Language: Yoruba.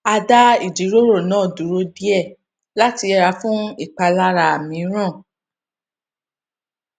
a dá ìjíròrò náà dúró díè láti yẹra fún ìpalára mìíràn